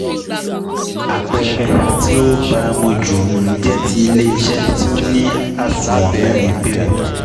Àpẹẹrẹ tí um ó baamu ju um jẹ́ ti ilé-iṣẹ́ tí ó ní àsùnwọ̀n mẹ́rin péré